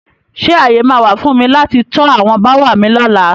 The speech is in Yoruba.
Ṣé ààyè máa wà fún mi láti to àwọn bááwà mi lóla?